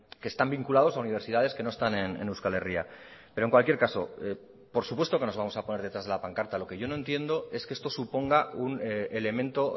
que están vinculados a universidades que no están en euskal herria pero en cualquier caso por supuesto que nos vamos a poner detrás de la pancarta lo que yo no entiendo es que esto suponga un elemento